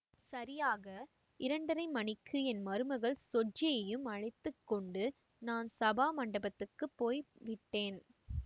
சரியாக இரண்டரை மணிக்கு என் மருமகள் ஸொஜ்ஜியையும் அழைத்து கொண்டு நான் சபா மண்டபத்துக்குப் போய் விட்டேன்